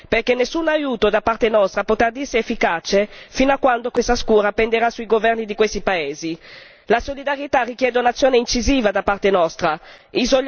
serve la cancellazione del debito, come è stato già ripetuto più volte, perché nessun aiuto da parte nostra potrà dirsi efficace fino a quando questa scure penderà sui governi di questi paesi.